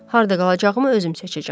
Harda qalacağımı özüm seçəcəm.